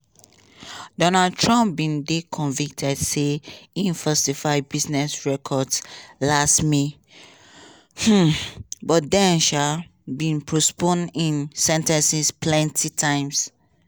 donald trump bin dey convicted say im falsify business records last may um but dem um bin postpone im sen ten cing plenti times.